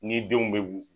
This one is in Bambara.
Ni denw bɛ